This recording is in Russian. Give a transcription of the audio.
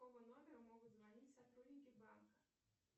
с какого номера могут звонить сотрудники банка